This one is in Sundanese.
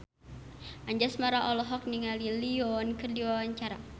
Anjasmara olohok ningali Lee Yo Won keur diwawancara